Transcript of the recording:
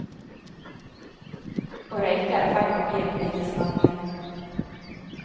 Å røyke er i ferd med å bli en politisk handling.